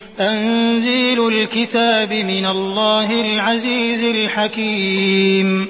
تَنزِيلُ الْكِتَابِ مِنَ اللَّهِ الْعَزِيزِ الْحَكِيمِ